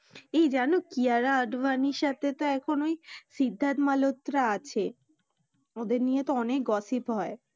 এই জানো? কিয়ারা আদ্মানির সাথে তো এখন ঐ সিদ্ধাত মালত্রা আছে, ওদের নিয়ে তো অনেক gossip হয়।